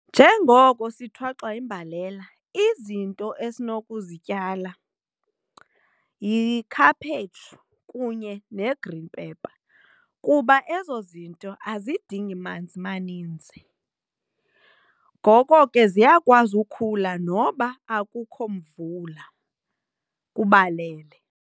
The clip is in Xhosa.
Njengoko sithwaxwa yimbalela, izinto esinokuzityala yikhaphetshu kunye ne-green pepper kuba ezo zinto azidingi manzi maninzi ngoko ke ziyakwazi ukukhula noba akukho mvula kubalele.